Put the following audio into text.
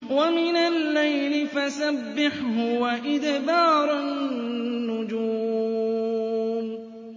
وَمِنَ اللَّيْلِ فَسَبِّحْهُ وَإِدْبَارَ النُّجُومِ